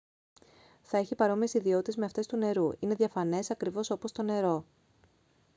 θα έχει παρόμοιες ιδιότητες με αυτές του νερού είναι διαφανές ακριβώς όπως το νερό